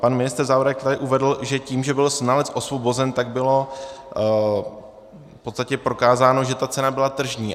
Pan ministr Zaorálek tady uvedl, že tím, že byl znalec osvobozen, tak bylo v podstatě prokázáno, že ta cena byla tržní.